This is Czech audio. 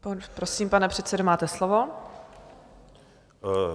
Prosím, pane předsedo, máte slovo.